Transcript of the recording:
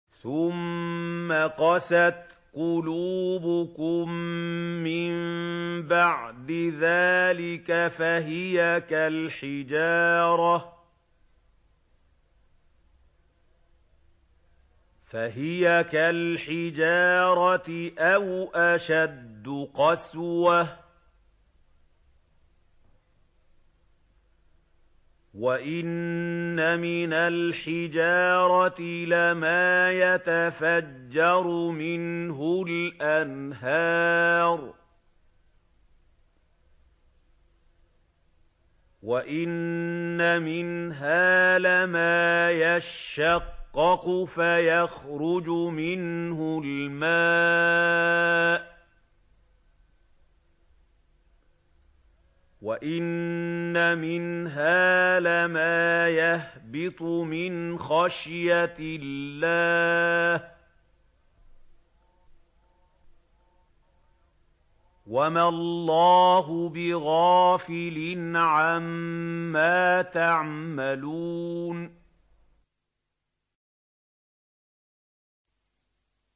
ثُمَّ قَسَتْ قُلُوبُكُم مِّن بَعْدِ ذَٰلِكَ فَهِيَ كَالْحِجَارَةِ أَوْ أَشَدُّ قَسْوَةً ۚ وَإِنَّ مِنَ الْحِجَارَةِ لَمَا يَتَفَجَّرُ مِنْهُ الْأَنْهَارُ ۚ وَإِنَّ مِنْهَا لَمَا يَشَّقَّقُ فَيَخْرُجُ مِنْهُ الْمَاءُ ۚ وَإِنَّ مِنْهَا لَمَا يَهْبِطُ مِنْ خَشْيَةِ اللَّهِ ۗ وَمَا اللَّهُ بِغَافِلٍ عَمَّا تَعْمَلُونَ